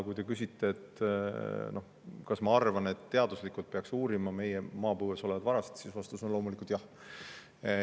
Kui te küsite, kas ma arvan, et teaduslikult peaks uurima meie maapõues olevaid varasid, siis vastus on loomulikult jah.